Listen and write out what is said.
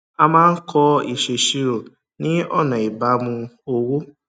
a máa ń kọ ìṣèṣirò ni ọnà ìbámu owó